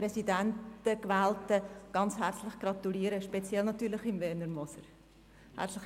Ich möchte allen Gewählten herzlich gratulieren, speziell natürlich Werner Moser, SVP.